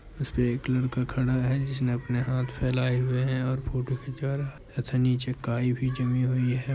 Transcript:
इसपे एक लड़का खड़ा है जिसने अपने हाथ फैलाए हुए हैं और फोटो खींचा रहा। अच्छा नीचे काई भी जमी हुइ है।